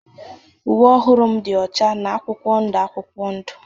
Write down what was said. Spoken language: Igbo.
Uwe ọhụrụ m dị ọcha na akwụkwọ ndụ akwụkwọ ndụ.